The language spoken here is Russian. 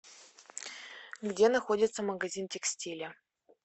где находится магазин текстиля